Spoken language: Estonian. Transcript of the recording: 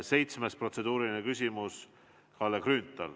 Seitsmes protseduuriline küsimus, Kalle Grünthal.